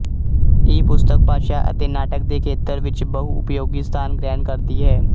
ਇਹ ਪੁਸਤਕ ਭਾਸ਼ਾ ਅਤੇ ਨਾਟਕ ਦੇ ਖੇਤਰ ਵਿੱਚ ਬਹੁਉਪਯੋਗੀ ਸਥਾਨ ਗ੍ਰਹਿਣ ਕਰਦੀ ਹੈ